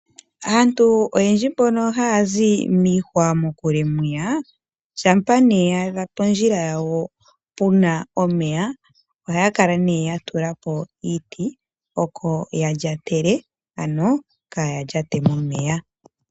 Aantu oyendji mbono haya zi miihwa mokule mwiya, shampa ne yaadha pondjila dhawo pu na omeya ohaya kala ne ya tulako iiti oko ya lyatele ano kaya lyate momeya.